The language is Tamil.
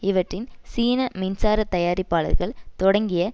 இவற்றின் சீன மின்சாரத் தயாரிப்பாளர்கள் தொடங்கிய